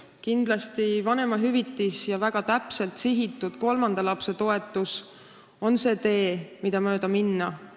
Kindlasti on vanemahüvitis ja väga täpselt sihitud kolmanda lapse toetus see tee, mida mööda minna.